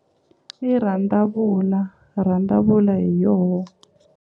I rhandavula rhandavula hi yoho.